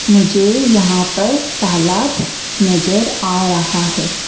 मुझे यहां पर तालाब नजर आ रहा है।